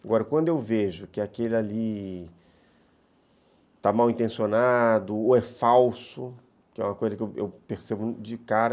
Agora, quando eu vejo que aquele ali está mal intencionado ou é falso, que é uma coisa que eu percebo de cara...